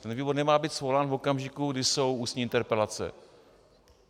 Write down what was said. Ten výbor nemá být svolán v okamžiku, kdy jsou ústní interpelace.